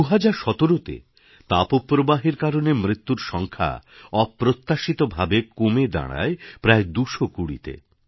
২০১৭ তে তাপ প্রবাহের কারণে মৃত্যুর সংখ্যা অপ্রত্যাশিত ভাবে কমে দাঁড়ায় প্রায় ২২০ তে